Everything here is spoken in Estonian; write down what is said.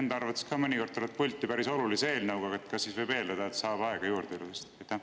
Enda arvates mõnikord tuled pulti päris olulise eelnõuga, kas siis võib eeldada, et saab aega juurde?